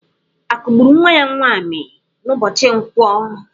A kụgburu nwa ya nwaanyị n'ụbọchị nkwọ?